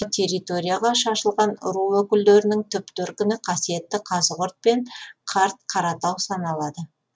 территорияға шашылған ру өкілдерінің түп төркіні қасиетті қазығұрт пен қарт қаратау саналады